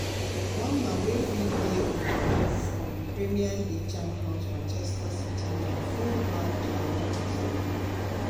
one man wey fit dey on di move from premier league champions manchester city na full-back joao cancelo.